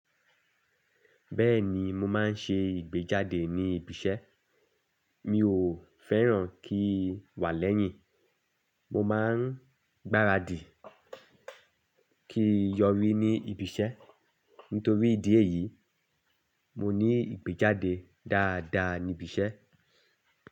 Bẹ́ẹ̀ni mo máa ń ṣe ìgbéjáde ní ibi iṣẹ́. Mi ò fẹ́ràn kí wà lẹ́yìn, mo má ń gbáradì kí yọrí ní ibi iṣẹ́. Nítorí ìdí èyí, mo ní ìgbéjáde dáadáa ní ibi iṣẹ́.